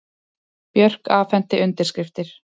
Björk afhenti undirskriftir